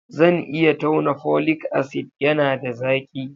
Zan iya tauna folic acid, yana da zaki